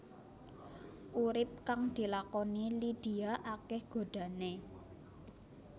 Urip kang dilakoni Lydia akéh godhané